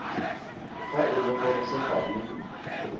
fa e le gore sefane